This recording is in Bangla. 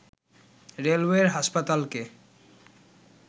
রেলওয়ের হাসপাতালকে